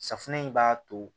Safunɛ in b'a to